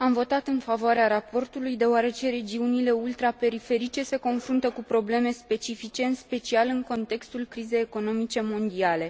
Am votat în favoarea raportului, deoarece regiunile ultraperiferice se confruntă cu probleme specifice, în special în contextul crizei economice mondiale.